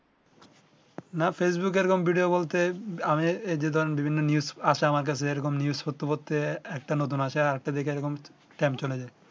না ফেসবুকে এই রকম ভিডিও বলতে আমি এই যে ধরেন বিভিন্ন news আসে আমার কাছে এই রকম news পড়তে পড়তে একটা নতুন আসে আরেকটা দেখি টাইম চলে যায়